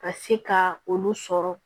Ka se ka olu sɔrɔ